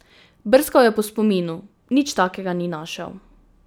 Brskal je po spominu, nič takega ni našel.